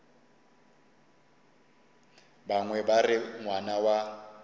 bangwe ba re ngwana wa